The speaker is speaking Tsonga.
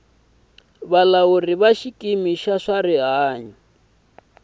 bya xikimi xa swa rihanyo